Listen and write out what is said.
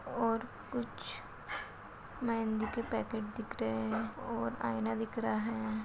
और कुछ मेहंदी के पैकेट दिख रहें हैं और आईना दिख रहा है।